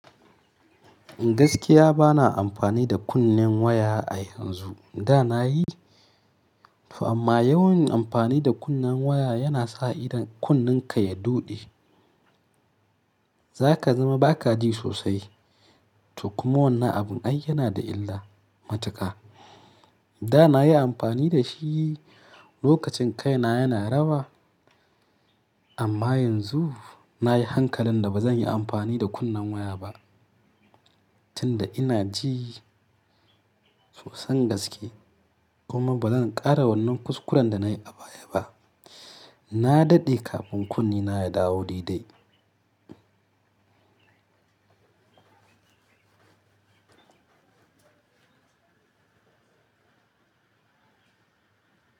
Gaskiya bana amfani da kunnen waya a yanzu. Da na yi amma yawan amfani da kunnen waya yana sa idan kunnenka ya doɗe zaka zama ba ka ji sosai. To kuma wannan abun ai yana da illa matuka. Da na yi amfani da shi lokacin kaina yana rawa amma yanzu na yi hankalin da ba zan yi amfani da kunnen waya ba tunda ina ji sosan gaske kuma ba zan ƙara wannan kuskuren da na yi a baya ba. Na daɗe kafin kunnena ya dawo didai.